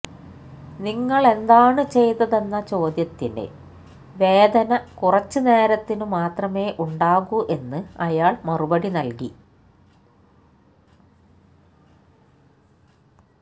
നിങ്ങളെന്താണ് ചെയ്തതെന്ന ചോദ്യത്തിന് വേദന കുറച്ച് നേരത്തിന് മാത്രമേ ഉണ്ടാകൂ എന്ന് അയാള് മറുപടി നല്കി